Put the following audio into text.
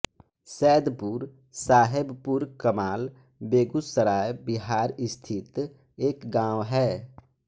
सैदपुर साहेबपुरकमाल बेगूसराय बिहार स्थित एक गाँव है